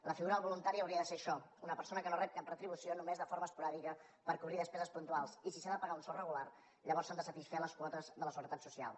la figura del voluntari hauria de ser això una persona que no rep cap retribució només de forma esporàdica per cobrir despeses puntuals i si se li ha de pagar un sou regular llavors s’han de satisfer les quotes de la seguretat social